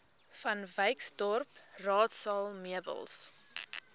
vanwyksdorp raadsaal meubels